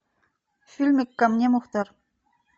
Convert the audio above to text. фильмик ко мне мухтар